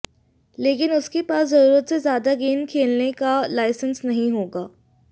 लेकिन उसके पास जरूरत से ज्यादा गेंद खेलने का लाइसेंस नहीं होगा